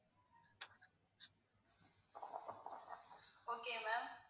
okay ma'am